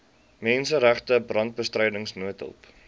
menseregte brandbestryding noodhulp